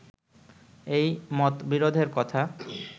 এই মতবিরোধের কথা